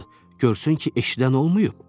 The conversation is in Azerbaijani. Görsün ki, eşidən olmayıb.